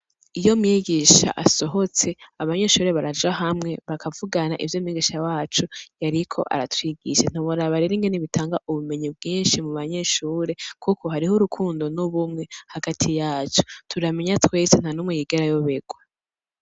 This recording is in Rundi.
Iyo mwigisha asohotse abanyeshure baraja hamwe bakavugana ivyo mwigisha wacu yariko aratwigisha, ntiworaba rero ingene bitanga ubumenyi bwinshi mu banyeshure kuko hariho urukundo n'ubumwe hagati yacu. Turamenya twese nta numwe yigera ayoberwa.